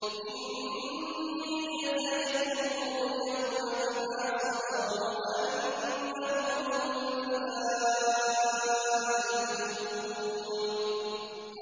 إِنِّي جَزَيْتُهُمُ الْيَوْمَ بِمَا صَبَرُوا أَنَّهُمْ هُمُ الْفَائِزُونَ